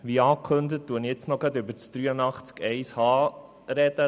Wie angekündigt, spreche ich nun auch gleich über den Artikel 83 Absatz 1 Buchstabe h;